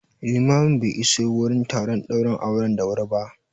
Limamin be iso wurin taron ɗaurin auren da wuri ba